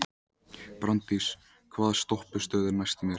Branddís, hvaða stoppistöð er næst mér?